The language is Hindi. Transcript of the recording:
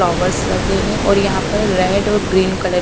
फ्लावर्स लगे हैं और यहां पर रेड और ग्रीन कलर --